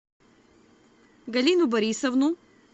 галину борисовну